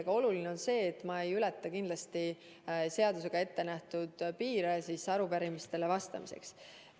Aga oluline on see, et ma kindlasti ei ületa seadusega ettenähtud piire, mis arupärimistele vastamisele on seatud.